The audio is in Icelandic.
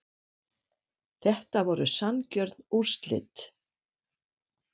Þetta voru sanngjörn úrslit